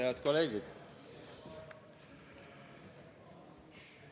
Head kolleegid!